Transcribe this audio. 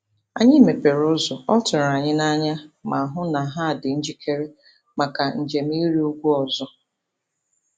Anyị mepere ụzọ, ọ tụrụ anyị n'anya, ma hụ na ha dị njikere maka njem ịrị ugwu ọzọ.